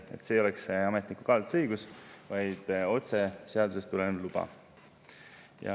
Siis ei oleks ametniku kaalutlusõigust, vaid otse seadusest tulenev luba.